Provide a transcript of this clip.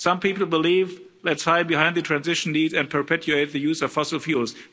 Some people believe let's hide behind the transition needs and perpetuate the use of fossil fuels'.